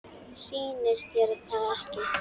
Sýnist þér það ekki?